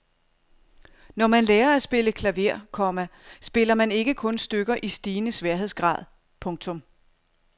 Når man lærer at spille klaver, komma spiller man ikke kun stykker i stigende sværhedsgrad. punktum